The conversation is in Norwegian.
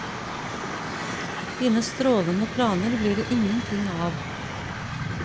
Dine strålende planer blir det ingenting av.